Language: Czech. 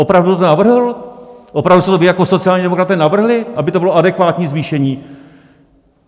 Opravdu jste to vy jako sociální demokraté navrhli, aby to bylo adekvátní zvýšení?